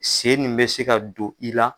Sen nin be se ka don i la